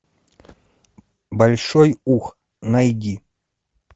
большой ух найди